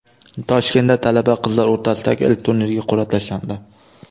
Toshkentda talaba qizlar o‘rtasidagi ilk turnirga qur’a tashlandi.